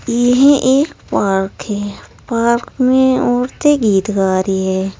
यह एक पार्क है पार्क में औरतें गीत गा रही है।